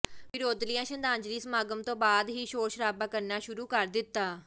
ਵਿਰੋਧੀਆਂ ਸ਼ਰਧਾਂਜਲੀ ਸਮਾਗਮ ਤੋਂ ਬਾਅਦ ਹੀ ਸ਼ੋਰ ਸ਼ਰਾਬਾ ਕਰਨਾ ਸ਼ੁਰੂ ਕਰ ਦਿੱਤਾ